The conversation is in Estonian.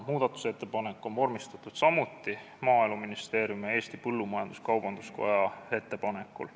Muudatusettepanek on samuti vormistatud Maaeluministeeriumi ja Eesti Põllumajandus-Kaubanduskoja ettepanekul.